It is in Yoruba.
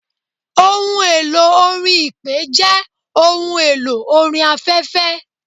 Ohun elò orin Ipè jẹ́ ohun elò orin afẹ́fẹ́.